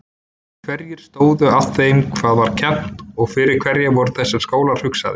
Hverjir stóðu að þeim hvað var kennt og fyrir hverja voru þessir skólar hugsaðir?